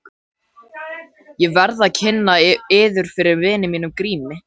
Ég verð að kynna yður fyrir vini mínum Grími.